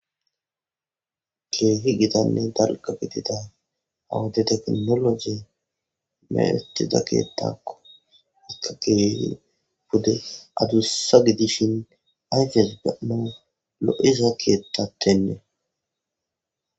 keefi gidanne dalga bitida awudi teknologi meatiza keettakko ikka keefi bude adussa gidishin ayfes gano lo7iza keettatennee